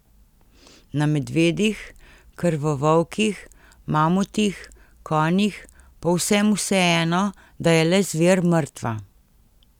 Na medvedih, krvovolkih, mamutih, konjih, povsem vseeno, da je le zver mrtva.